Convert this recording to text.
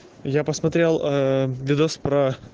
я посмотрел ээ видос про